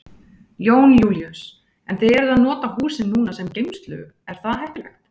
Jón Júlíus: En þið eruð að nota húsin núna sem geymslu, er það heppilegt?